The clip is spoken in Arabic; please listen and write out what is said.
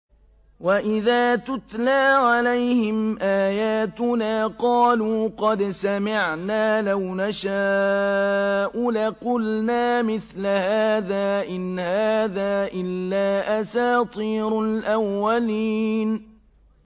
وَإِذَا تُتْلَىٰ عَلَيْهِمْ آيَاتُنَا قَالُوا قَدْ سَمِعْنَا لَوْ نَشَاءُ لَقُلْنَا مِثْلَ هَٰذَا ۙ إِنْ هَٰذَا إِلَّا أَسَاطِيرُ الْأَوَّلِينَ